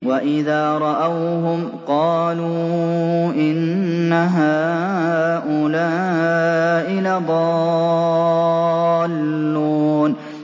وَإِذَا رَأَوْهُمْ قَالُوا إِنَّ هَٰؤُلَاءِ لَضَالُّونَ